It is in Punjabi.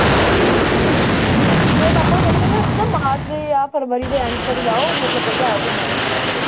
ਹਾਂ ਮੇਰੇ ਪਾਪਾ ਤਾਂ ਕਹਿੰਦੇ, ਕਹਿੰਦੇ ਉੱਥੇ ਤਾਂ ਮਾਰਚ ਜਾਂ ਫਰਵਰੀ ਦੇ end ਤੱਕ ਜਾਓ ਮਤਲਬ ਵਧੀਆ ਘੁੰਮਣ ਨੂੰ ਕਸ਼ਮੀਰ